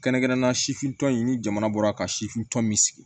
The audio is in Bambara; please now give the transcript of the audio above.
Kɛrɛnkɛrɛnnenya sifintɔ in ni jamana bɔra ka sifin tɔn min sigi